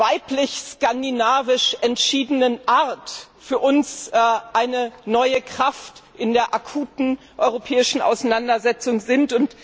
weiblich skandinavisch entschiedenen Art für uns eine neue Kraft in der akuten europäischen Auseinandersetzung sind.